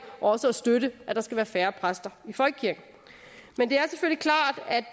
også at støtte at der skal være færre præster i folkekirken med